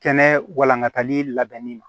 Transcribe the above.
Kɛnɛ walankatali labɛnni ma